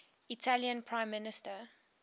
italian prime minister